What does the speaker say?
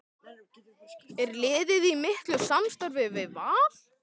Er liðið í miklu samstarfi við Val?